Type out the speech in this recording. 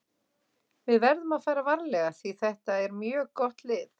Við verðum að fara varlega því þetta er mjög gott lið.